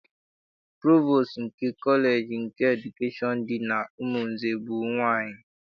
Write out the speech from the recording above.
Provostu nke kọleji nke edukeshọn dị n'Umunze bụ nwaanyị.